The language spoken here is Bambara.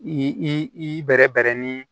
I i bɛrɛ bɛrɛ ni